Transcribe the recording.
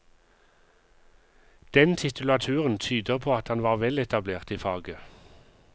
Den titulaturen tyder på at han var veletablert i faget.